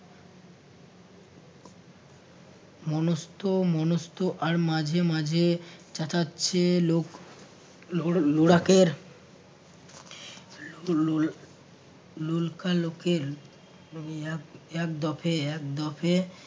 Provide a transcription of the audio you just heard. মনস্থ মনস্থ আর মাঝে মাঝে চেঁচাচ্ছে লোক লোড়~ লোড়াকের লো লো লোলকা লোকের এক এক দফে এক দফে